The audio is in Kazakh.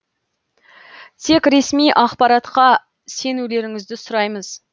тек ресми ақпаратқа сенулеріңізді сұраймыз